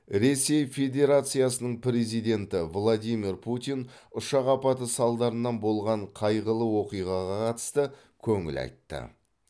ресей федерациясының президенті владимир путин ұшақ апаты салдарынан болған қайғылы оқиғаға қатысты көңіл айтты